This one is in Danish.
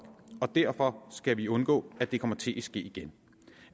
og derfor skal vi undgå at det kommer til at ske igen